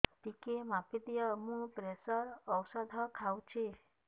ଟିକେ ମାପିଦିଅ ମୁଁ ପ୍ରେସର ଔଷଧ ଖାଉଚି